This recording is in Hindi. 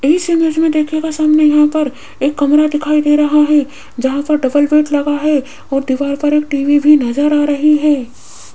इस इमेज में देखिएगा सामने यहां पर एक कमरा दिखाई दे रहा है जहां पर डबल बेड लगा है और दीवार पर एक टी_वी भी नजर आ रही है।